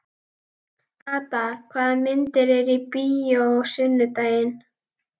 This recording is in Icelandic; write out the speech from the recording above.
Ada, hvaða myndir eru í bíó á sunnudaginn?